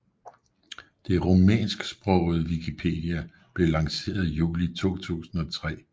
Den rumænsksprogede wikipedia blev lanceret juli 2003